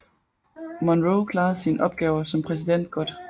Monroe klarede sine opgaver som præsident godt